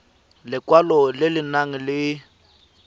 lekwalo le le nang le